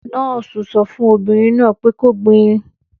Nọ́ọ́sì sọ fún obìnrin náà pẹ kó gbin!